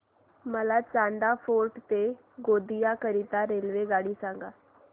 मला चांदा फोर्ट ते गोंदिया करीता रेल्वेगाडी सांगा